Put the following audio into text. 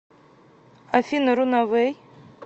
афина рунавэй